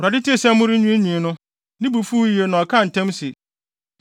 Awurade tee sɛ morenwiinwii no, ne bo fuw yiye na ɔkaa ntam se,